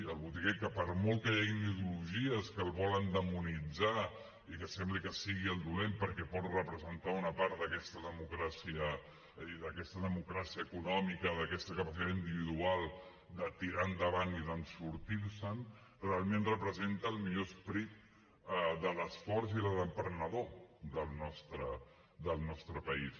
el botiguer que per molt que hi hagin ideologies que el volen demonitzar i que sembli que sigui el dolent perquè pot representar una part d’aquesta democràcia econòmica d’aquesta capacitat individual de tirar endavant i de sortir se’n realment representa el millor esperit de l’esforç i de l’emprenedor del nostre país